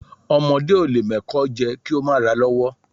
Ọmọdé o lẹ mo ẹ́kọ jé, ki o ma ra lọwò